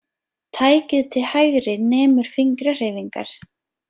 Tækið til hægri nemur fingrahreyfingar.